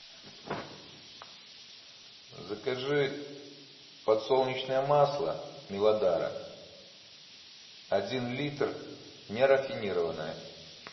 закажи подсолнечное масло милодара один литр нерафинированное